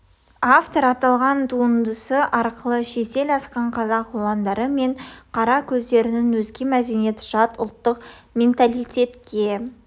автор аталған туындысы арқылы шетел асқан қазақ ұландары мен қара көздерінің өзге мәдениет жат ұлттық менталитетке